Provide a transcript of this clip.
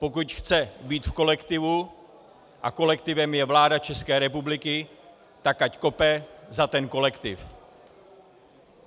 Pokud chce být v kolektivu, a kolektivem je vláda České republiky, tak ať kope za ten kolektiv.